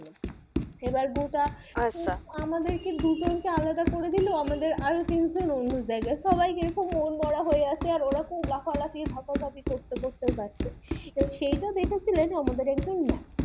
এবার গোটা আচ্ছা আমাদের দুজন কে আলাদা করে দিলো আমাদের আরো তিনজন অন্য জায়গায় সবাই কিরকম মন মোরা হয়ে গেছে আর ওরা খুব লাফালাফি ঝাপাঝাপি করতে করতে যাচ্ছে আর সেইটা দেখেছিলেন আমাদের একজন Ma'am